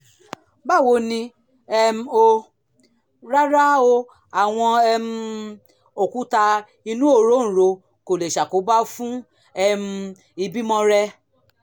báwo ni um o? rárá o àwọn um òkúta inú òróǹro kò lè ṣàkóbá fún um ìbímọ rẹ